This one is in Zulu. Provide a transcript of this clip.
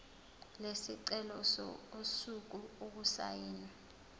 lesicelo usuku okusayinwe